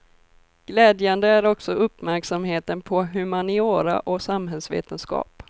Glädjande är också uppmärksamheten på humaniora och samhällsvetenskap.